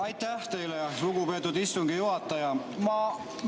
Aitäh teile, lugupeetud istungi juhataja!